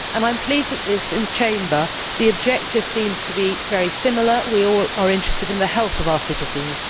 I am pleased that in this Chamber the objective seems to be very similar we are all interested in the health of our citizens.